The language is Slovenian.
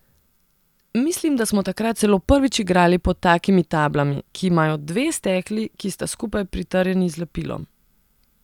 Mislim, da smo takrat celo prvič igrali pod takimi tablami, ki imajo dve stekli, ki sta skupaj pritrjeni z lepilom.